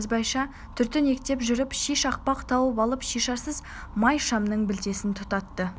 ізбайша түртінектеп жүріп ши шақпақ тауып алып шишасыз май шамның білтесін тұтатты